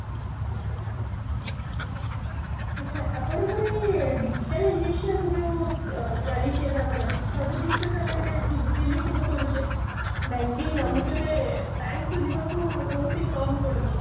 ଆଛା ଆପଣଙ୍କର ଏଇ digitalization ଯୋଉ ଚାଲିଛି ଏବେ ଆମର ସବୁ ଜିନିଷ ତ ଆମେ ଏବେ digitally ସବୁ କରୁଚେ banking ଆମକୁ ଏବେ bank କୁ ଯିବାକୁ ବହୁତ ହି କମ ପଡୁଚି